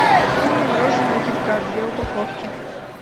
купи мне мороженое кит кат две упаковки